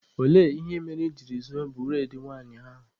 Olee ihe mere I jiri zuo bụredị nwanyị ahụ?